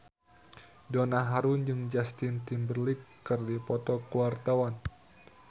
Donna Harun jeung Justin Timberlake keur dipoto ku wartawan